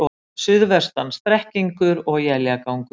Suðvestan strekkingur og éljagangur